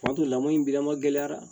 O y'a to lamɔ in bi lama gɛlɛya